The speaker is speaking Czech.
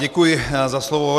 Děkuji za slovo.